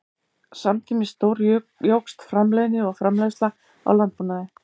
Samtímis stórjókst framleiðni og framleiðsla í landbúnaði.